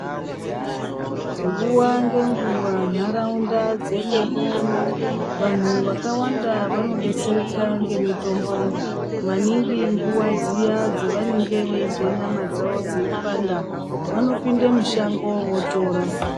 Nguwa ngenguwa nharaunda dzekwedu uno vanthu vakawanda vanodetsereka ngemitombo maningi nguwa dziya dzavanenge veizwe nyama dzavo kupanda vanopinde mushango votora.